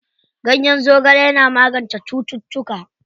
Ganyen zogale yana magance cututtuka.